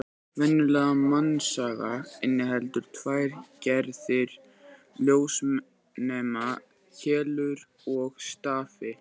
Venjulegt mannsauga inniheldur tvær gerðir ljósnema: Keilur og stafi.